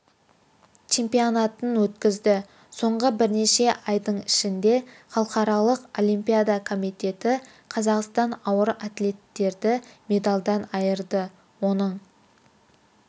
чемионатын өткізді соңғы бірнеше айдың ішінде халықаралық олимпиада комитеті қазақстандық ауыр атлеттерді медальдан айырды оның